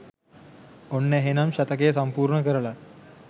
ඔන්න එහෙනම් ශතකය සම්පූර්ණ කරලා